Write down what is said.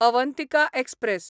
Avantika express